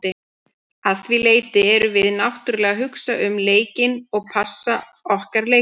Að því leyti erum við náttúrulega að hugsa um leikinn og passa okkar leikmenn.